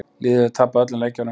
Liðið hefur tapað öllum leikjunum